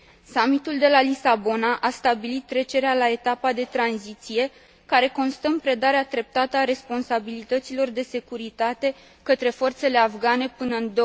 Summitul de la Lisabona a stabilit trecerea la etapa de tranziție, care constă în predarea treptată a responsabilităților de securitate către forțele afgane până în